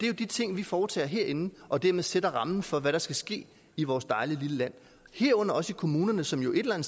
jo de ting vi foretager os herinde og dermed sætter rammen for hvad der skal ske i vores dejlige lille land herunder også i kommunerne som jo et eller